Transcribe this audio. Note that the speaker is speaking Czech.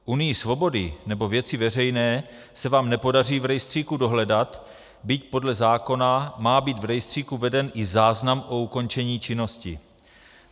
Unii svobody nebo Věci veřejné se vám nepodaří v rejstříku dohledat, byť podle zákona má být v rejstříku veden i záznam o ukončení činnosti.